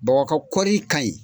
Baba ka koɔri ka ɲin.